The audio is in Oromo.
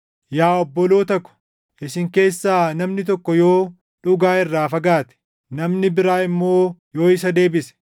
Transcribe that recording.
Yaa obboloota ko, isin keessaa namni tokko yoo dhugaa irraa fagaate, namni biraa immoo yoo isa deebise,